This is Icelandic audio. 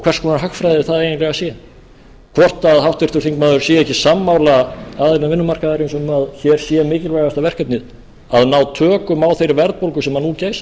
hvers konar hagfræði það eiginlega sé hvort háttvirtur þingmaður sé ekki sammála aðilum vinnumarkaðarins um að hér sé mikilvægasta verkefnið að ná tökum á þeirri verðbólgu sem nú geysar